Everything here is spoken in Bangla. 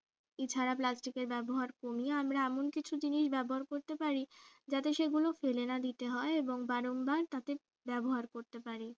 এছাড়া plastic এর ব্যবহার কমিয়ে আমরা এমন কিছু জিনিস ব্যবহার করতে পারি যাতে সেগুলো ফেলে না দিতে হয় এবং বারংবার তাকে ব্যবহার করতে পারি